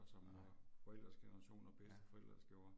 Nej. Ja